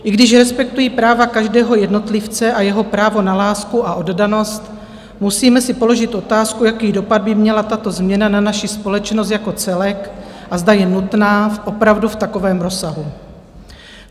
I když respektuji práva každého jednotlivce a jeho právo na lásku a oddanost, musíme si položit otázku, jaký dopad by měla tato změna na naši společnost jako celek a zda je nutná opravdu v takovém rozsahu.